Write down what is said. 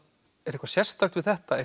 er eitthvað sérstakt við þetta